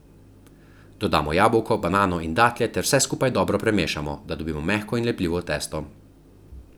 Dodamo jabolko, banano in datlje ter vse skupaj dobro premešamo, da dobimo mehko in lepljivo testo.